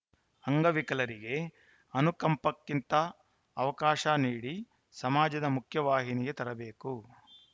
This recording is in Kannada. ಅಂಗವಿಕಲರಿಗೆ ಅನುಕಂಪಕ್ಕಿಂತ ಅವಕಾಶ ನೀಡಿ ಸಮಾಜದ ಮುಖ್ಯವಾಹಿನಿಗೆ ತರಬೇಕು